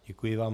Děkuji vám.